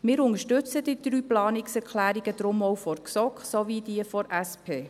Wir unterstützen deshalb auch die drei Planungserklärungen der GSoK sowie die der SP.